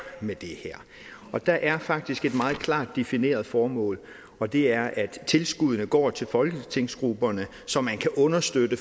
med det her der er faktisk et meget klart defineret formål og det er at tilskuddene går til folketingsgrupperne så man kan understøtte